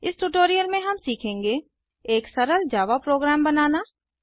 इस ट्यूटोरियल में हम सीखेंगे एक सरल जावा प्रोग्राम बनाना